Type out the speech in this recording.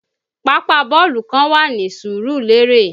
Pápá bọ́ọ̀lù kan wà ní Surulere